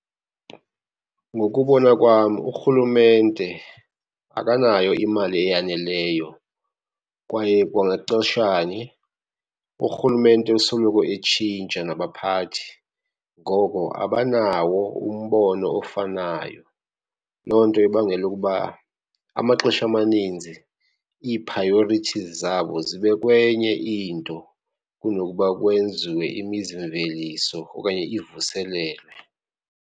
Ngokubona kwam urhulumente akanayo imali eyaneleyo, kwaye kwangaxesha nye urhulumente usoloko etshintsha nabaphathi, ngoko abanawo umbono ofanayo. Loo nto ibangela ukuba amaxesha amaninzi ii-priorities zabo zibe kwenye into kunokuba kwenziwe imizimveliso okanye ivuselelwe.